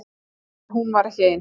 En hún var ekki ein.